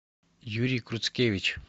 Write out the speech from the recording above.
юрий круцкевич